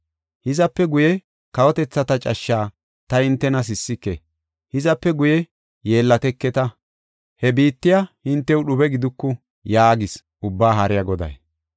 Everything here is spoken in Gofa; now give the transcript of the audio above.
“Hizape guye, kawotethata cashshaa ta hintena sissike; hizape guye yeellateketa; he biittay hintew dhube giduku” yaagees Ubbaa Haariya Goday.